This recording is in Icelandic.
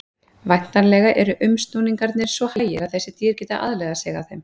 Væntanlega eru umsnúningarnir svo hægir að þessi dýr geti aðlagað sig að þeim.